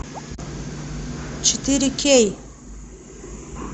четыре кей